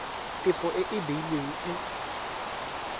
tefo e e beilweng e